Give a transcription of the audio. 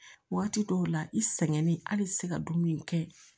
Waati dɔw la i sɛgɛnnen hali i te se ka dumuni kɛ